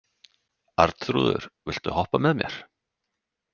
Arnþrúður, viltu hoppa með mér?